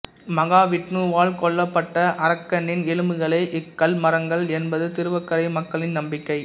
மகாவிட்ணுவால் கொல்லப்பட்ட அரக்கனின் எலும்புகளே இக்கல்மரங்கள் என்பது திருவக்கரை மக்களின் நம்பிக்கை